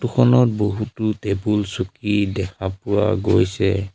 খনত বহুতো টেবুল চকী দেখা পোৱা গৈছে।